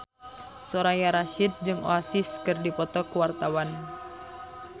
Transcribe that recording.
Soraya Rasyid jeung Oasis keur dipoto ku wartawan